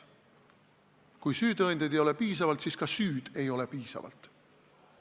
Kui süütõendeid ei ole piisavalt, siis ka süüd ei ole piisavalt.